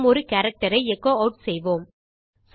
நாம் ஒரு எர்ரர் ஐ எச்சோ ஆட் செய்வோம்